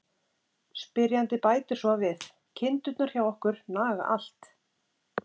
Spyrjandi bætir svo við: Kindurnar hjá okkur naga allt!